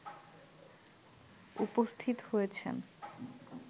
উপস্থিত হয়েছেন